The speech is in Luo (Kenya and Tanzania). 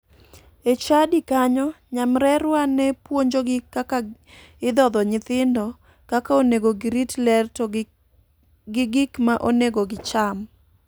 E chadi kanyo nyamrerwa ne puonjogi kaka idhodho nyithindo, kaka onego girit ler to gi gik ma onego gicham.